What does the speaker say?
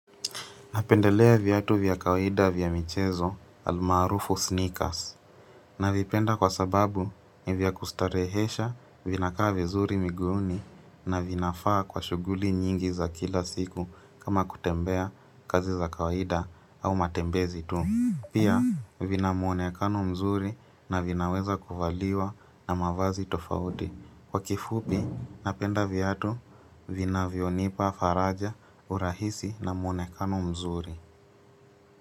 Napendelea viatu vya kawaida vya michezo almaarufu sneakers. Navipenda kwa sababu nivya kustarehesha vina kaa vizuri miguuni na vinafaa kwa shughuli nyingi za kila siku kama kutembea kazi za kawaida au matembezi tu. Pia vina mwonekano mzuri na vinaweza kuvaliwa na mavazi tofauti. Kwa kifupi napenda viatu vinavyonipa faraja urahisi na mwonekano mzuri.